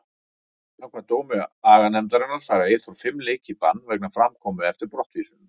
Samkvæmt dómi aganefndarinnar fær Eyþór fimm leiki í bann vegna framkomu eftir brottvísunina.